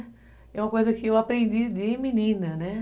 É uma coisa que eu aprendi de menina, né?